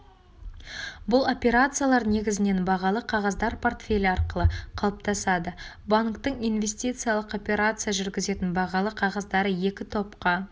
бұл операциялар негізінен бағалы қағаздар портфелі арқылы қалыптасады банктің инвестициялық операция жүргізетін бағалы қағаздары екі топқа